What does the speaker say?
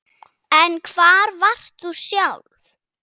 En hvar varst þú sjálf